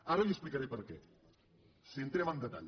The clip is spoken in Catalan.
ara li explicaré per què si entrem en detall